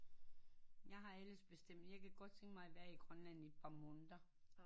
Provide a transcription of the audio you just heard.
Jeg har alles bestemt jeg kan godt tænke mig at være i Grønland i et par måneder